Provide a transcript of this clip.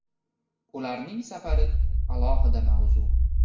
Ularning safari – alohida mavzu.